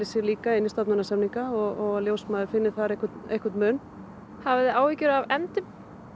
sér inn í stofnanasamninga og að ljósmæður finni þar einhvern einhvern mun hafið þið áhyggjur af efndum